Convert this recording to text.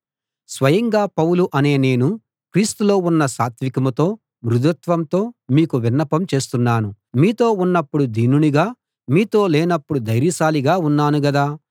స్వయంగా పౌలు అనే నేను క్రీస్తులో ఉన్న సాత్వీకంతో మృదుత్వంతో మీకు విన్నపం చేస్తున్నాను మీతో ఉన్నపుడు దీనునిగా మీతో లేనపుడు ధైర్యశాలిగా ఉన్నాను గదా